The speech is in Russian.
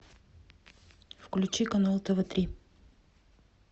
включи канал тв три